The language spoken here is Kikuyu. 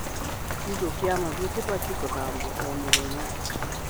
Kiugũ kia mahiũ kĩbatie gũthambio o mũthenya.